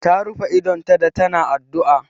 Ta rufe idonta da ta na addu'a